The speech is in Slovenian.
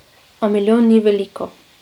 A milijon ni veliko.